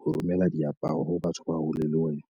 ho romela diaparo ho batho ba hole le wena.